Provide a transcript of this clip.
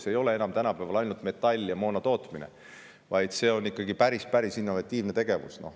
See ei ole tänapäeval enam ainult metalli ja moona tootmine, vaid see on ikkagi päris innovatiivne tegevus.